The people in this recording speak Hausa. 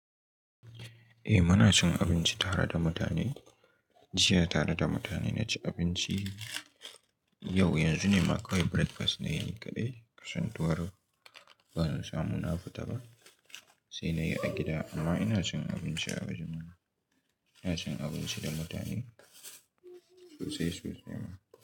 Eh muna cin abinci tara da mutane, jiya tare da mutane na ci abinci. Yau yanzu ne ma kawai breakfast na yi ni kaɗai kasantuwar ban samu na fita ba. Sai na yi a gida amma ina cin abinci a wajen ma, ina cin abinci da mutane sosai sosai ma.